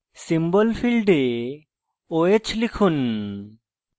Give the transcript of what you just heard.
symbol ফীল্ডে oh লিখুন